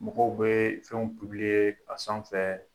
Mɔgɔw bɛ fɛnw p ublié a san fɛɛ